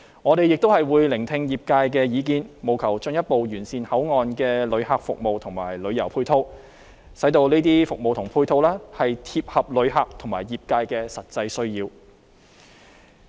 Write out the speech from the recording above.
我們亦會聆聽業界意見，務求進一步完善口岸的旅客服務和旅遊配套，使這些服務和配套切合旅客和業界的實際需要。